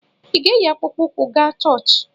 Ị ga-eyi akpụkpọ ụkwụ ga chọọchị?